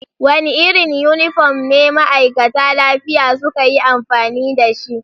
Wanda irin yunifom ne ma'aikata lafiya suka yi amfani da shi?